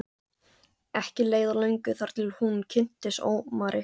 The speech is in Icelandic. Ekki leið á löngu þar til hún kynntist Ómari.